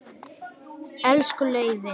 Elsku Leifi.